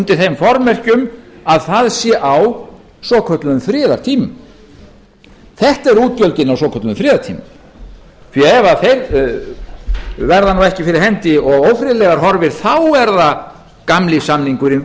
undir þeim formerkjum að það sé á svokölluðum friðartímum þetta eru útgjöldin á svokölluðum friðartímum því ef þeir verða nú ekki fyrir hendi og ófriðlegar horfir þá er það gamli samningurinn við